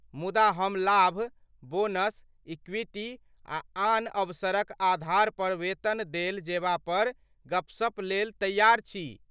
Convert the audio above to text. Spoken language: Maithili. मुदा हम लाभ, बोनस, इक्विटी आ आन अवसरक आधार पर वेतन देल जेबा पर गपशप लेल तैयार छी।